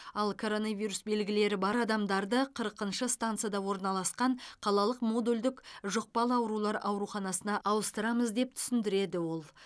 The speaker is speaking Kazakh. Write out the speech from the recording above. ал коронавирус белгілері бар адамдарды қырқыншы станцияда орналасқан қалалық модульдік жұқпалы аурулар ауруханасына ауыстырамыз деп түсіндіреді ол